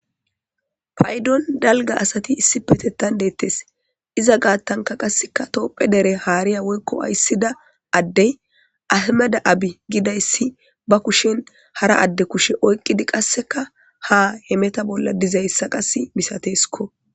paydon dalga asati issipetettan deettes iza gaattanka qasseka toopphe dere haariya woykko ayssida addey ahmeda abi gidayssi ba kushen hara adde kushe oyqqidi qasseka ha hemeta bolla dizayssa qas misateskko